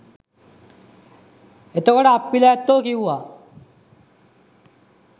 එතකොට අප්පිල ඇත්තො කිව්වා